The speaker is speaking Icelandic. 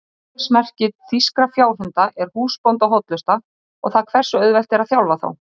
Aðalsmerki þýskra fjárhunda er húsbóndahollusta og það hversu auðvelt er að þjálfa þá.